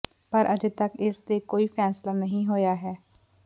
ਪਰ ਅਜੇ ਤਕ ਇਸ ਤੇ ਕੋਈ ਫੈਸਲਾ ਨਹੀਂ ਹੋਇਆ ਹੈ